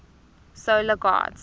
solar gods